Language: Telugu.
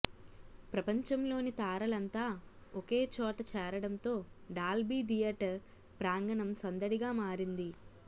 ప్రపంచంలోని తారలంతా ఒకే చోట చేరడంతో డాల్బీ థియేటర్ ప్రాంగణం సందడిగా మారింది